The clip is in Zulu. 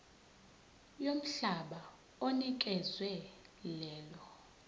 yomhlaba onikezwe lelo